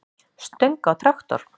stöng á traktor.